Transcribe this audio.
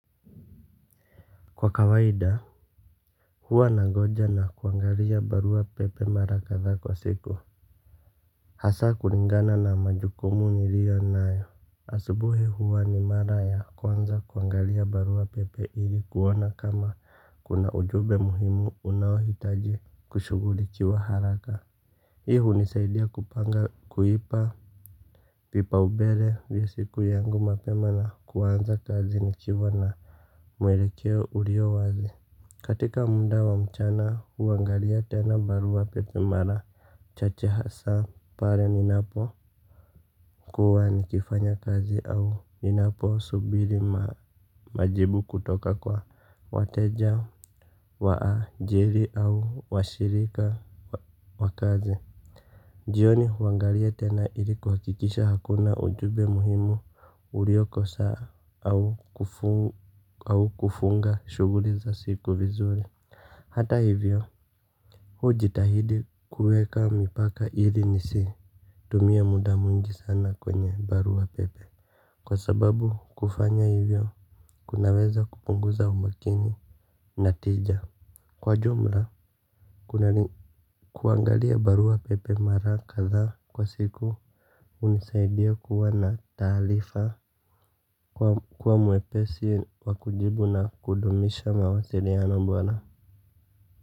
Kwa kawaida huwa nagoja na kuangalia barua pepe mara kadhaa kwa siku hasa kulingana na majukumu nilio nayo asubuhi huwa ni mara ya kwanza kuangalia barua pepe ili kuona kama kuna ujumbe muhimu unaohitaji kushughulikia haraka hii hunisaidia kupanga kuipa vipaumbele vya siku yangu mapema na kuanza kazi nikiwa na mwelekeo ulio wazi. Katika muda wa mchana huangalia tena barua pepe mara chache hasa pale ninapo kuwa nikifanya kazi au ninapo subiri majibu kutoka kwa wateja wa ajiri au washirika wa kazi. Jioni huangalia tena ili kuhakikisha hakuna ujumbe muhimu uliokosa au kufunga shughuli za siku vizuri. Hata hivyo hujitahidi kuweka mipaka ili nisi tumia muda mwingi sana kwenye barua pepe. Kwa sababu kufanya hivyo kunaweza kupunguza umakini na tija. Kwa jumla kuna kuangalia barua pepe mara kadhaa kwa siku hunisaidia kuwa na taarifa. Kuwa mwepesi wa kujibu na kudumisha mawasiliano bora.